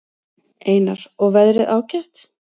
Einar: Og veðrið ágætt?